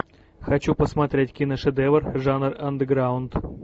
хочу посмотреть киношедевр жанр андеграунд